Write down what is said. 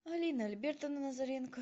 алина альбертовна лазаренко